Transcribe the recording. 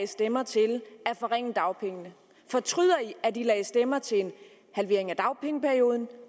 stemmer til at forringe dagpengene fortryder i at i lagde stemmer til en halvering af dagpengeperioden